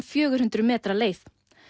fjögur hundruð metra leið